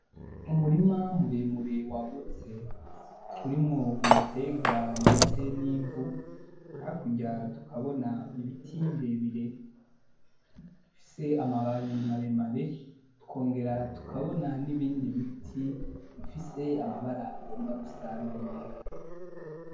umurima muremure wagutse urimwo ibiterwa ndetse nivu hakurya tukabona ibiti birebire bifise amababi maremare tukongera tukabona nibindi biti bifise amabara agomba gusa nayera